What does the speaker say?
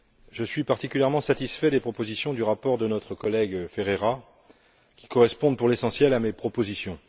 Je suis particulièrement satisfait des propositions du rapport de notre collègue Ferreira, qui correspondent, pour l'essentiel, à mes propositions.